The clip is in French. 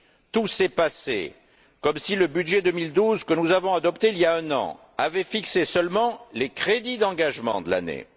Tout s'est passé comme si le budget 2012, que nous avons adopté il y a un an, avait fixé seulement les crédits d'engagement de l'année